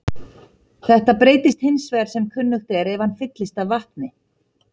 Þetta breytist hins vegar sem kunnugt er ef hann fyllist af vatni.